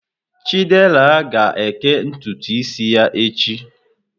Chidera ga-eke ntutu isi ya echi.